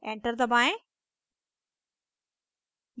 enter दबाएं